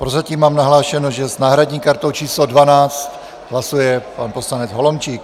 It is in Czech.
Prozatím mám nahlášeno, že s náhradní kartou číslo 12 hlasuje pan poslanec Holomčík.